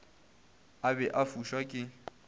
a be a fuša ke